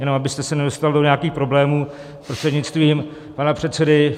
Jenom abyste se nedostal do nějakých problémů, prostřednictvím pana předsedy.